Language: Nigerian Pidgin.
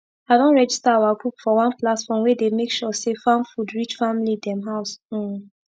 i don register our group for one platform wey dey make sure say farm food reach family dem house um